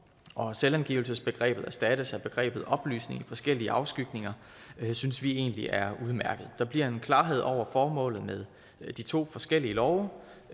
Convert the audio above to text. og at selvangivelsesbegrebet erstattes af begrebet oplysninger i forskellige afskygninger synes vi egentlig er udmærket der bliver en klarhed over formålet med de to forskellige love